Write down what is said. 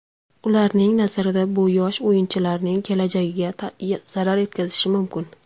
Ularning nazarida bu yosh o‘yinchilarning kelajagiga zarar yetkazishi mumkin.